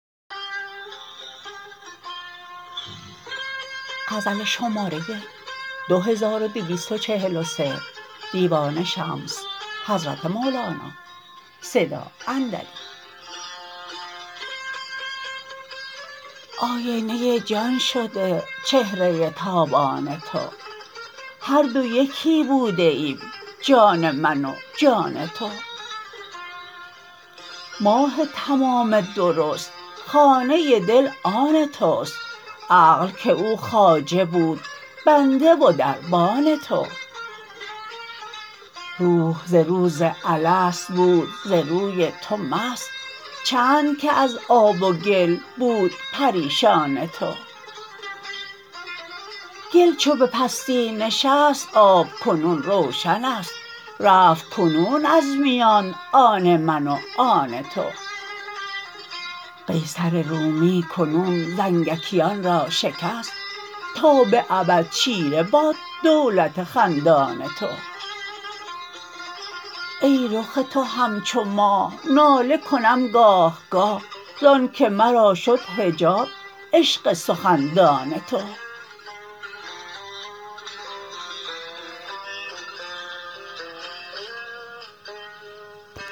آینه جان شده چهره تابان تو هر دو یکی بوده ایم جان من و جان تو ماه تمام درست خانه دل آن توست عقل که او خواجه بود بنده و دربان تو روح ز روز الست بود ز روی تو مست چند که از آب و گل بود پریشان تو گل چو به پستی نشست آب کنون روشن ست رفت کنون از میان آن من و آن تو قیصر رومی کنون زنگیکان را شکست تا به ابد چیره باد دولت خندان تو ای رخ تو همچو ماه ناله کنم گاه گاه ز آنک مرا شد حجاب عشق سخندان تو